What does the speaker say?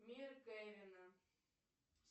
мир кевина